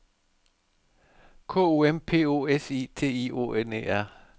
K O M P O S I T I O N E R